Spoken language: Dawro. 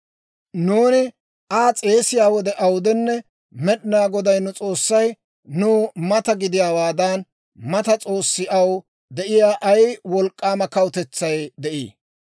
«Nuuni Aa s'eesiyaa wode awudenne, Med'inaa Goday nu S'oossay nuw mata gidiyaawaadan, mata s'oossi aw de'iyaa ay wolk'k'aama kawutetsay de'ii?